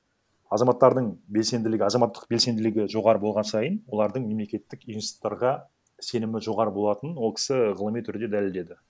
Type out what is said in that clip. азаматтардың белсенділігі азаматтық белсенділігі жоғары болған сайын олардың мемлекеттік институттарға сенімі жоғары болатынын ол кісі ғылыми түрде дәлелдеді